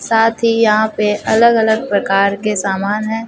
साथ ही यहां पे अलग अलग प्रकार के सामान हैं।